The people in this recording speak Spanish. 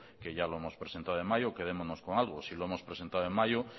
que ya lo hemos presentado en mayo quedémonos con algo si lo hemos presentado en mayo